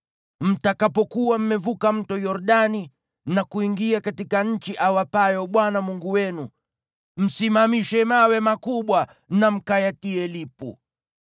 Mtakapokuwa mmevuka Mto Yordani na kuingia katika nchi awapayo Bwana Mungu wenu, msimamishe mawe makubwa na mkayatie lipu.